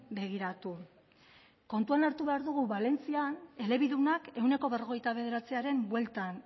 begiratu kontuan hartu behar dugu valentzian elebidunak ehuneko berrogeita bederatziaren bueltan